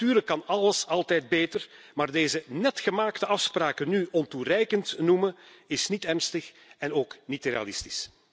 Natuurlijk kan alles altijd beter, maar deze net gemaakte afspraken nu ontoereikend noemen, is niet ernstig en ook niet realistisch.